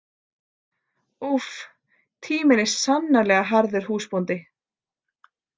Úff, tíminn er sannarlega harður húsbóndi.